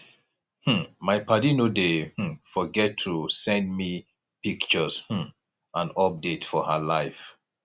um my paddy no dey um forget to send me pictures um and updates for her life